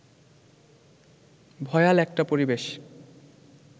ভয়াল একটা পরিবেশ